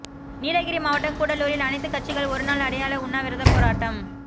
நீலகிரி மாவட்டம் கூடலூரில் அனைத்துக் கட்சிகள் ஒருநாள் அடையாள உண்ணாவிரத போராட்டம்